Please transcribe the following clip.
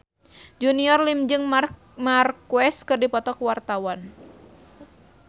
Junior Liem jeung Marc Marquez keur dipoto ku wartawan